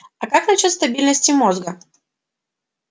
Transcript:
а как насчёт стабильности мозга